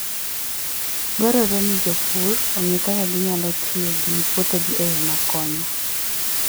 Dwarore ni jopur ong'e kaka ginyalo tiyo gi puothegi e yo makonyo.